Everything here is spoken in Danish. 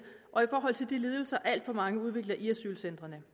og i forhold til de lidelser alt for mange udvikler i asylcentrene